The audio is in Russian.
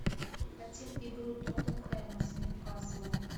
хотим игру тоттенхэма с ньюкаслом